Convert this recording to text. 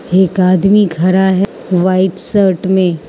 एक आदमी खड़ा है वाइट शर्ट में।